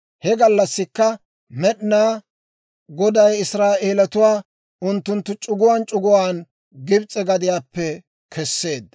He gallassikka Med'inaa Goday Israa'eelatuwaa unttunttu c'uguwaan c'uguwaan Gibs'e gadiyaappe kesseedda.